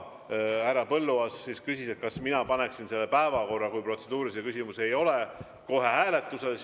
Härra Põlluaas küsis, kas mina paneksin selle päevakorra, kui protseduurilisi küsimusi ei ole, kohe hääletusele.